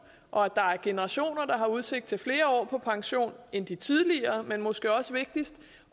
og at der er generationer der har udsigt til flere år på pension end de tidligere men måske også vigtigst